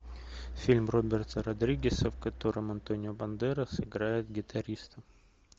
фильм роберта родригеса в котором антонио бандерас играет гитариста